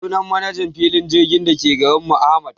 Sunan manajan filin jirgin dake garinmu Ahmad